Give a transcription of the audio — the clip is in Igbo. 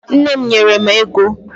Nne m nyere m ego